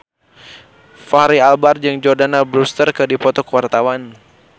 Fachri Albar jeung Jordana Brewster keur dipoto ku wartawan